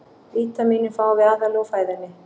Vítamínin fáum við aðallega úr fæðunni.